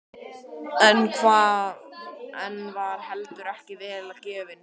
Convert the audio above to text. En hann var heldur ekki vel gefinn.